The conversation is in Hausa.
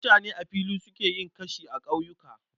Mutane a fili suke yin kashi a ƙauyuka